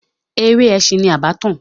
Eré ẹ̀sìn ni Abattoir.